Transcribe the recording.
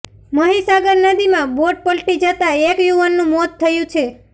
મહીસાગર નદીમાં બોટ પલટી જતા એક યુવાનનું મોત થયું છે